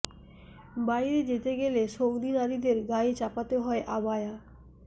বাইরে যেতে গেলে সৌদি নারীদের গায়ে চাপাতে হয় আবায়া